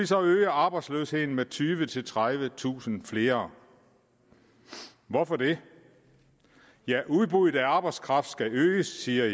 så øge arbejdsløsheden med tyvetusind tredivetusind flere hvorfor det jo udbuddet af arbejdskraft skal øges siger